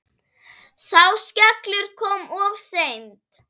Sá skellur kom of seint.